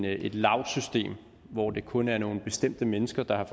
et lavsystem hvor det kun er nogle bestemte mennesker der har